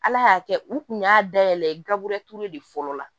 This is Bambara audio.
Ala y'a kɛ u kun y'a dayɛlɛ gaburu de fɔlɔ la